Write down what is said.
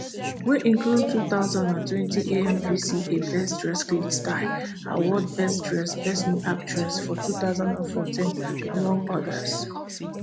wey include two thousand and twenty amvca best dressed glitz style award best dressed best new actress for two thousand and fourteen among odas